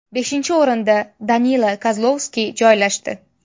Beshinchi o‘rinda Danila Kozlovskiy joylashdi.